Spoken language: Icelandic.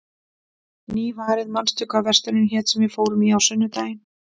Nývarð, manstu hvað verslunin hét sem við fórum í á sunnudaginn?